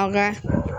An ka